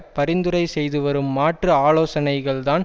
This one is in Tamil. பரிந்துரை செய்துவரும் மாற்று ஆலோசனைகள்தான்